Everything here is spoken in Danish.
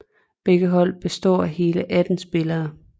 Begge hold består af hele 18 spillere